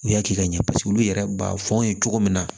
U y'a kɛ ka ɲɛ paseke olu yɛrɛ b'a fɔ an ye cogo min na